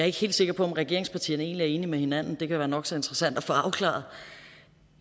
ikke helt sikker på om regeringspartierne egentlig er enige med hinanden og det kan være nok så interessant at få afklaret